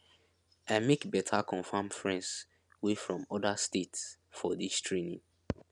i make beta confam friends wey from oda states for dis training